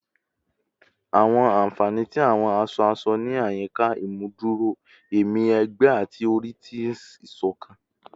Awọn anfani ti awọn aṣọ-aṣọ ni ayika imuduro ẹmi ẹgbẹ ati ori ti isokan